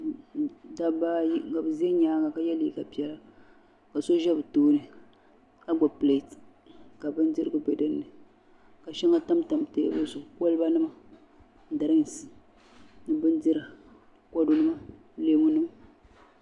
Dabba ayi bɛ zala nyaanga ka ye liiga piɛla ka so ʒɛ bɛ tooni ka gbibi pileti ka bindirigu be dinni ka sheŋa tamtam teebuli maa zuɣu koliba nima dirinki bindira kodu nima leemu nima.